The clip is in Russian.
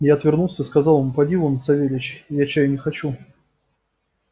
я отвернулся и сказал ему поди вон савельич я чаю не хочу